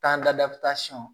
Taa ladasɔn